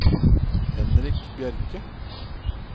Henrik Bjerke